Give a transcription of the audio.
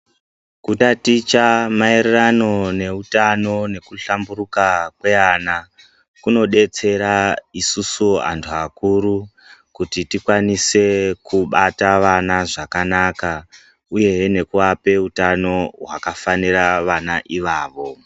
Ku taticha ma ererano ne utano neku hlamburuka kwe ana kuno detsera isusu antu akuru kuti tikwanise kubata vana zvakanaka uyehe neku ape utano hwaka fanira vana ivavo.